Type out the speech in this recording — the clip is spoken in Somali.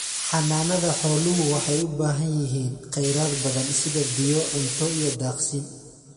Xanaanada xooluhu waxay u baahan yihiin khayraad badan sida biyo, cunto iyo daaqsin.